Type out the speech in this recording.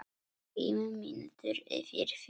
Fimm mínútur yfir fjögur.